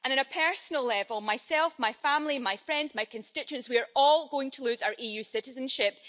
On a personal level I myself, my family, my friends, my constituents we are all going to lose our EU citizenship.